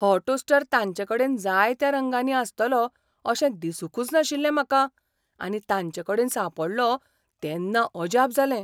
हो टोस्टर तांचेकडेन जायत्या रंगांनी आसतलो अशें दिसूंकुच नाशिल्लें म्हाका आनी तांचेकडेन सांपडलो तेन्ना अजाप जालें.